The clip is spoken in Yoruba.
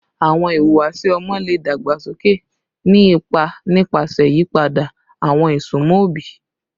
Awọn ihuwasi ọmọ le dagbasoke, ni ipa nipasẹ iyipada awọn isunmọ obi